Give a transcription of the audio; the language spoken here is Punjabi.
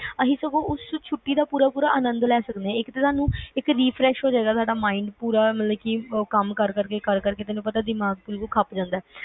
ਅਸੀਂ ਸਗੋਂ ਉਸ ਛੁੱਟੀ ਦਾ ਪੂਰਾ ਪੂਰਾ ਆਨੰਦ ਲੈ ਕੇ ਸਕਦੇ ਆ ਇੱਕ ਤਰਹ ਨਾਲ refresh ਹੋ ਜਾਏਗਾ ਆਪਣਾ mind ਮਤਲਬ ਤੈਨੂੰ ਪਤਾ ਕੰਮ ਕਰ ਕਰ ਕੇ ਕਰ ਕਰ ਕੇ ਖੱਪ ਜਾਂਦਾ